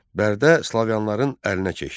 Bərdə Slaviyalıların əlinə keçdi.